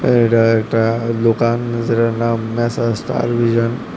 এটা একটা দোকান যেটার নাম মেসার্স স্টার ভীশান ।